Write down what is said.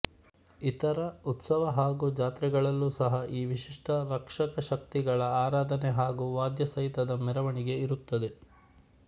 ಇತರ ಉತ್ಸವ ಹಾಗೂ ಜಾತ್ರೆಗಳಲ್ಲೂ ಸಹ ಈ ವಿಶಿಷ್ಟ ರಕ್ಷಕಶಕ್ತಿಗಳ ಆರಾಧನೆ ಹಾಗೂ ವಾದ್ಯಸಹಿತದ ಮೆರವಣಿಗೆ ಇರುತ್ತದೆ